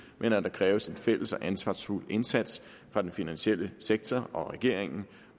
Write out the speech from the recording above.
men at der kræves en fælles og ansvarsfuld indsats af den finansielle sektor og af regeringen